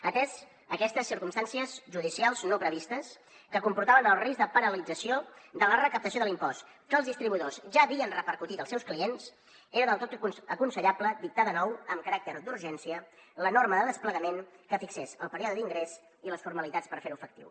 ateses aquests circumstàncies judicials no previstes que comportaven el risc de paralització de la recaptació de l’impost que els distribuïdors ja havien repercutit als seus clients era del tot aconsellable dictar de nou amb caràcter d’urgència la norma de desplegament que fixés el període d’ingrés i les formalitats per fer ho efectiu